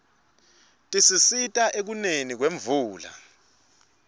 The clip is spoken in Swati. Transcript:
tisisita ekuneni kwemvula